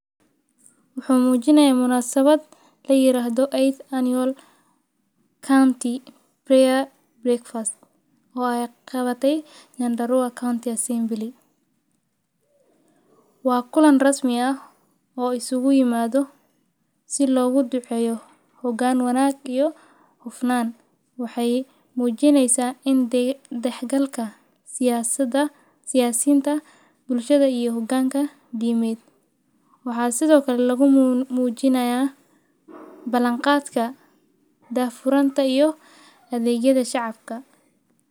Muxuu Muujinay muunasawat la yiraahdo, Eight Annual County Prayer Breakfast, oo ay qabatay Nyandarua County Assembly. Waa kulan rasmi ah oo isugu yimaado si loogu duceeyo hoggaan wanaag iyo xufnaan. Waxay muujinaysa in dhexgalka siyaasada siyaasiinta, bulshada iyo hogaanka dhimeed. Waxaa sidoo kale lagu muujinaya ballanqaadka daafuranta iyo adeegyada shacabka.